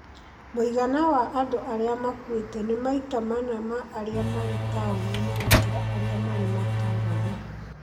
Mũigana wa andũ arĩa makuĩte nĩ maita mana ma arĩa marĩ taũni gũkĩra arĩa marĩ matũũra-inĩ.